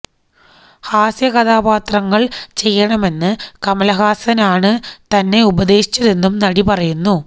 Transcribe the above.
ഹാസ്യ കഥാപാത്രങ്ങള് ചെയ്യണമെന്ന് കമല്ഹാസന് ആണ് തന്നെ ഉപദേശിച്ചതെന്നും നടി പറയുന്നു